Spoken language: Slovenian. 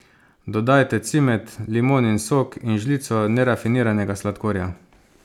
Dodajte cimet, limonin sok in žlico nerafiniranega sladkorja.